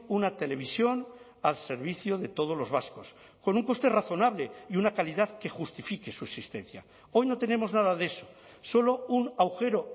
una televisión al servicio de todos los vascos con un coste razonable y una calidad que justifique su existencia hoy no tenemos nada de eso solo un agujero